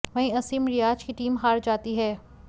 वहीं असीम रियाज की टीम हार जाती है